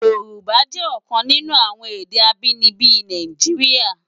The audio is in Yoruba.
Yorùbá jè òkan ninú awòn èdè ábìníbi Náijiriá